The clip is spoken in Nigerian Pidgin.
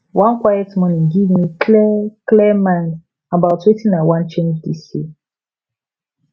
one quiet morning give me clear clear mind about wetin i wan change this year